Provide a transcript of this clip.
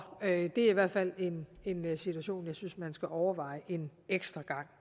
det er i hvert fald en situation jeg synes man skal overveje en ekstra gang